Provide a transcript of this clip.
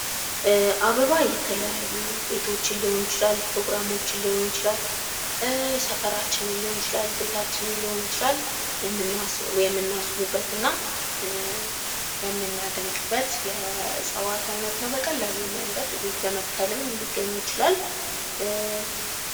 አበባ የተለያዩ ቤቶችን ሊሆን ይችላል ፕሮግራሞችን ሊሆን ይችላል ሰፈራችን ሊሆን ይችላል ቤታችንን ሊሆን ይችላል የምናስውብበትና የምናደምቅበት የእጽዋት አይነት ነው በቀላሉ መንገድ እቤት በመትከልም ሊገኝ ይችላል